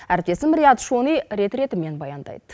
әріптесім риат шони рет ретімен баяндайды